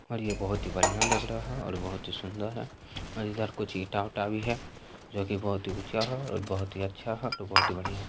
और ये बहुत ही बढ़िया लग रहा है और बहुत ही सुन्दर है और इधर कुछ ईटा-उटा भी है जो की बहुत ही ऊंचा है और बहुत ही अच्छा और बहुत ही बढ़ियाँ है।